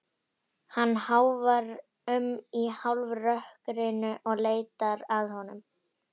Hann ráfar um í hálfrökkrinu og leitar að honum.